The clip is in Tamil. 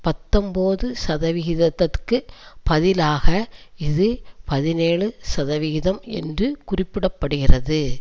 பத்தொன்பது சதவிகிதத்திற்கு பதிலாக இது பதினேழு சதவிகிதம் என்று குறிப்பிட படுகிறது